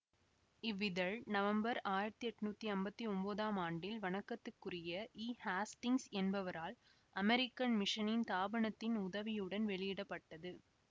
இவ்விதழ் November ஆயிரத்தி எட்ணூத்தி ஐம்பத்தி ஒம்போதாம் ஆண்டில் வணக்கத்துக்குரிய ஈ ஹேஸ்டிங்ஸ் என்பவரால் அமெரிக்கன் மிஷனின் தாபனத்தின் உதவியுடன் வெளியிட பட்டது